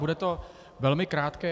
Bude to velmi krátké.